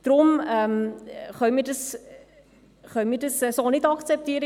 So wie es im Moment ist, können wir es nicht akzeptieren.